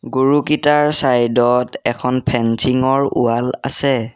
গৰুকিটাৰ side ত এখন fencing ৰ ৱাল আছে।